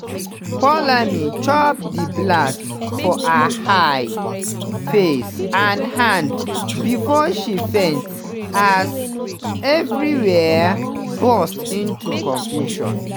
poulami chop di blast for her eyes face and hands bifor she faint as evriwia burst into confusion.